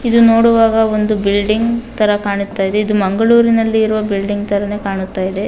ಇದು ನೋಡುವಾಗ ಒಂದು ಬಿಲ್ಡಿಂಗ್ ತರ ಕಾಣುತ್ತ ಇದೆ ಇದು ಮಂಗಳೂರಿನಲ್ಲಿರುವ ಬಿಲ್ಡಿಂಗ್ ತರಾನೇ ಕಾಣುತ್ತಿದೆ.